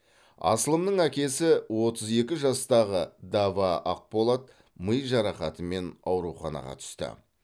асылымның әкесі отыз екі жастағы даваа ақболат ми жарақатымен ауруханаға түсті